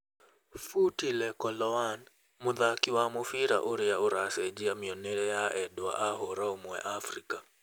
Phuti Lekoloane: mũthaki wa mũbira uria uracenjia mionere ya endwa a hũra umwe Afrika